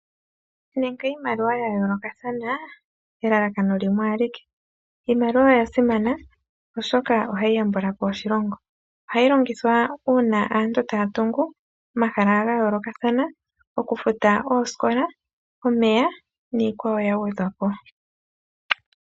Nande iimaliwa ya yoolokathana elalakano limwe alike. Iimaliwa oya simana oshoka ohayi yambulapo oshilongo. Ohayi longithwa uuna aantu taya tungu omahala ga yoolokathana, okufuta oosikola, omeya niikwawo yagwedhapo.